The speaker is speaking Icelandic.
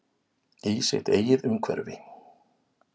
Í sitt eigið umhverfi.